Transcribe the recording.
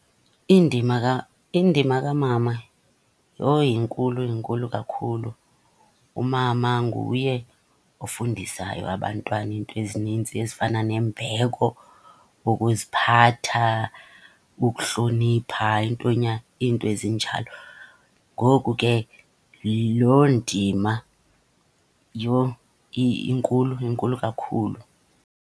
Indima , indima kamama yho inkulu, inkulu kakhulu. Umama nguye ofundisayo abantwana iinto ezinintsi ezifana nembeko, ukuziphatha, ukuhlonipha, into , iinto ezinjalo. Ngoku ke loo ndima yho inkulu, inkulu kakhulu.